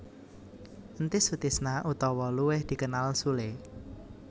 Entis Sutisna utawa luwih dikenal Sule